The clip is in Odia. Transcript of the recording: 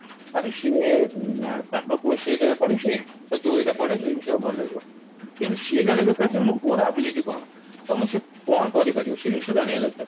ଆରେ ସିଏ ଆ ତାଙ୍କ ପୁଅ ସେଇ ଜାଗାରେ ପଢିଛି ତ ତୁ ଏଇଟା ପଢେ ସେଇ ଜିନିଷ ଟା ଭଲ ଲାଗିବ କିନ୍ତୁ ସିଏ ଜାଣିବା ଦରକାର ଯେ ମୋ ପୁଅର ability କଣ ତମକୁ ସେ କଣ କରିପାରିବ ସେଇ ଜିନିଷ ଜାଣିବା ଦରକାର